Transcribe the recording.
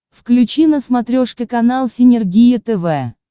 включи на смотрешке канал синергия тв